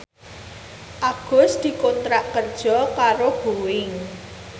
Agus dikontrak kerja karo Boeing